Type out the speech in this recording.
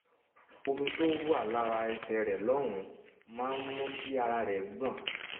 omi tó wà lára ẹsẹ̀ rẹ̀ lọ́hùn-ún máa ń ń mú kí ara rẹ̀ gbọ̀n